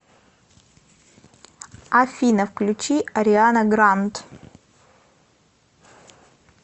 афина включи ариана гранд